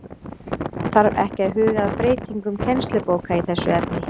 Þarf ekki að huga að breytingum kennslubóka í þessu efni?